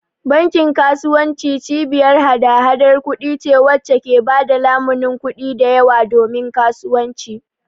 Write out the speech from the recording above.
Bankin kasuwanci cibiyar hada-hadar kuɗi ce wacce ke ba da lamunin kuɗi da yawa domin kasuwanci